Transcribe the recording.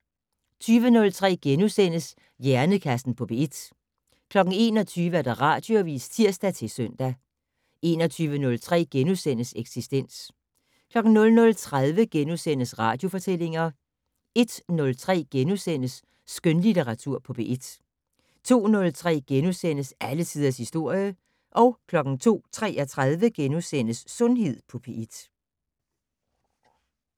20:03: Hjernekassen på P1 * 21:00: Radioavis (tir-søn) 21:03: Eksistens * 00:30: Radiofortællinger * 01:03: Skønlitteratur på P1 * 02:03: Alle tiders historie * 02:33: Sundhed på P1 *